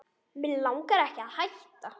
Mig langar ekki að hætta.